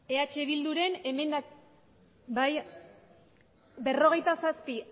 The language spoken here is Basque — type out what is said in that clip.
bale eh bilduren emendakin bai berrogeita zazpi